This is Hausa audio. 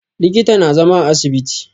Likita na zama a asibiti